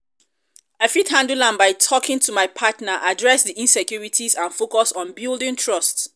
i fit handle am by talking to my partner address di insecurites and focus on building trust.